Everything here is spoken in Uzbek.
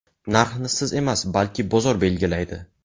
Narxni siz emas, balki bozor belgilaydi.